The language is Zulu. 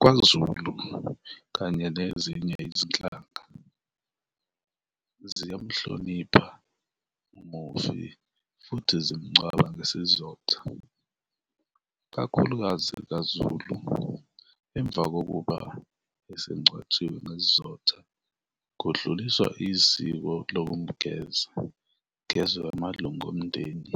KwaZulu kanye nezinye izinhlaka ziyamhlonipha umufi futhi zimngcwaba ngesizotha, kakhulukazi kaZulu, emva kokuba esengcwatshiwe ngesizotha kudluliswa iziko lokumgeza, kugezwe amalunga omndeni,